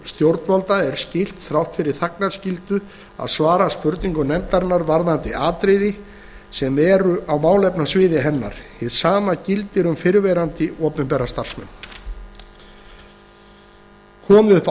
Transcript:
stjórnvalda er skylt þrátt fyrir þagnarskyldu að svara spurningum nefndarinnar varðandi atriði sem eru á málefnasviði hennar hið sama gildir um fyrrverandi opinbera starfsmenn komi upp